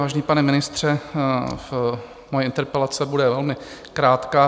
Vážený pane ministře, moje interpelace bude velmi krátká.